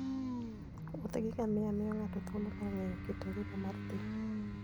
Wuoth gi ngamia miyo ng'ato thuolo mar ng'eyo kit ngima mar thim.